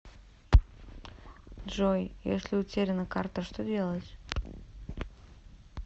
джой если утеряна карта что делать